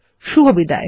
শুভবিদায়